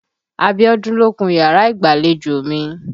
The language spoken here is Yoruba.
Abiọ́dún ló kun yàrá ìgbàlejò mi.